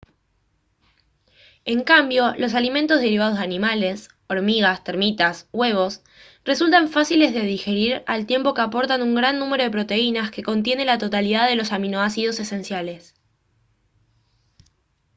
en cambio los alimentos derivados de animales hormigas termitas huevos resultan fáciles de digerir al tiempo que aportan un gran número de proteínas que contienen la totalidad de los aminoácidos esenciales